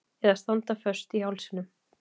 Eða standa föst í hálsinum.